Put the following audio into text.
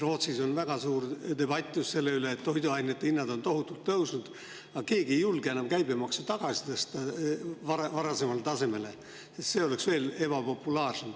Rootsis on väga suur debatt selle üle, et toiduainete hinnad on tohutult tõusnud, aga keegi ei julge enam käibemaksu tagasi tõsta varasemale tasemele, sest see oleks veel ebapopulaarsem.